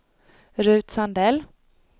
Rut Sandell